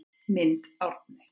Mynd Árni